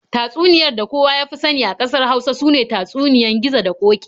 Tatsuniyar da kowa ya fi sani a ƙasar Hausa sune tatsuniyoyin Gizo da Ƙoki.